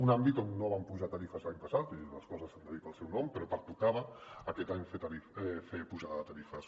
un àmbit on no vam apujar tarifes l’any passat i les coses s’han de dir pel seu nom però pertocava aquest any fer pujada de tarifes